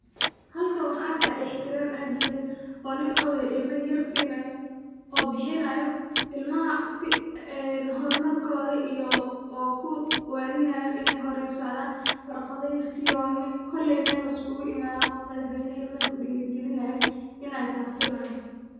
Halkan waxan arkaya ixtiram aad uweyn oo nin odey ah ilma yar sinayo oo bixinayo ilmaha si horumarkoda iyo kuwaaninayo inay horey usocdan, warqada yar siye oo koley Mel liskugu imaade oo qof madaxweyne ilma yar kudhiiri gelinay inatahay ayn filaya